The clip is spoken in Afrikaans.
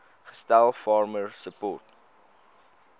gestel farmer support